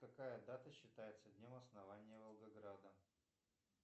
какая дата считается днем основания волгограда